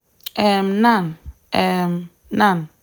um nan um nan